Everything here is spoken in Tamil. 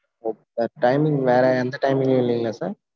okay sirtiming வேற எந்த timing கும் இல்லங்கிலா sir